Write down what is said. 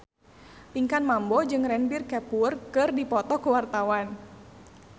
Pinkan Mambo jeung Ranbir Kapoor keur dipoto ku wartawan